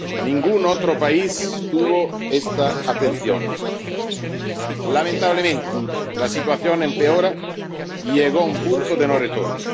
Ningún otro país tuvo esta atención. Lamentablemente, la situación empeora y llegó a un punto de no retorno.